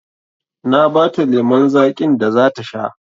Na ba ta lemon zaƙin da za ta sha